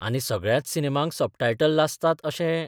आनी सगळ्याच सिनेमांक सबटायटल्ल आसतात अशेय